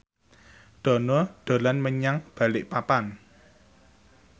Dono dolan menyang Balikpapan